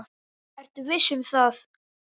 Vertu viss um það.